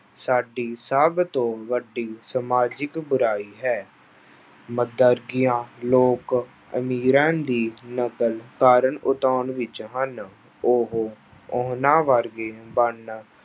ਸਾਡੀ ਸਭ ਤੋਂ ਵੱਡੀ ਸਮਾਜਿਕ ਬੁਰਾਈ ਹੈ ਲੋਕ ਅਮੀਰਾਂ ਦੀ ਨਕਲ ਕਾਰਨ ਵਿੱਚ ਹਨ ਉਹ ਉਹਨਾਂ ਵਰਗੇ ਬਣਨ